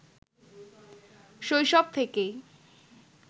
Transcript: শৈশব থেকেই